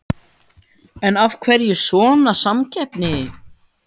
En af hverju svona samkeppni?